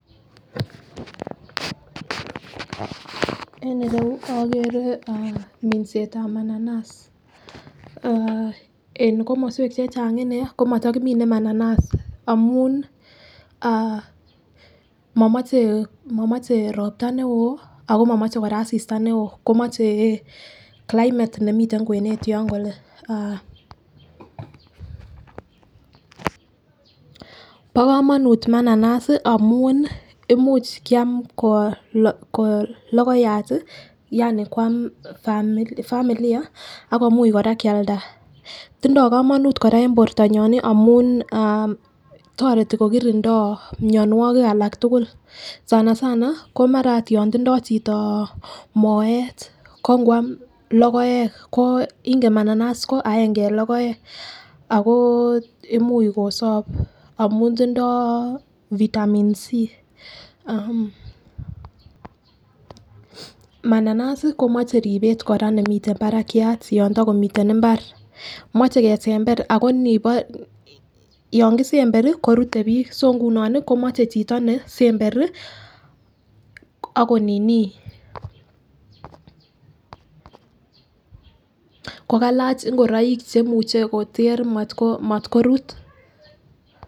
En irou okere minsetab bananas aah en komoswek chechang inee komoto kimine mananas amun aah momoche momoche ropta neo ako momoche Koraa asista neo moche climate nemiten kwenet yon kole aah. Bo komonut mananasi amun imuch kiam kolokoyat tii yaani kwam familiar akomuchi Koraa Kialda. Tindo komonut Koraa en bortonyon nii amun aah toreti kokirindo mionwokik alak tukuk sanasana komara ot yon tindo chito moet ko nkwam lokoek inken mananas ko aenge en lokoek ako imui kosob amun tindo vitamin C .Mananasi komoche ribet Koraa nemiten barakiat yon tokomiten imbar, moche kesember ako nibor yon kisemberi korute bik so nguno nii komoche chito ne semberi ako nini ko kalach ingoroik che imuche Kotor motko motkorut.